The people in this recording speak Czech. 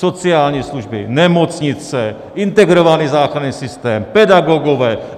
Sociální služby, nemocnice, integrovaný záchranný systém, pedagogové.